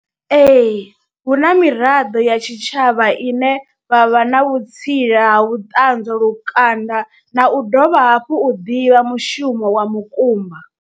Ee, hu na miraḓo ya tshitshavha ine vha vha na vhutsila ha vhuṱanzwa lukanda na u dovha hafhu u ḓivha mushumo wa mukumba.